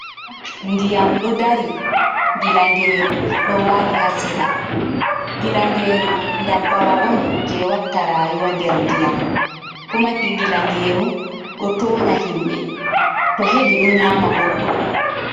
Nɗiyam ɗo ɗari gilangeeru ɗo waali ha sera. Gilangeeru ɗabbawa on je watta raayuwa nɗer nɗiyam. kuma ki gilangeeru ɗo toonya himɓe. To heɓi ɗo nyaama goɗɗo.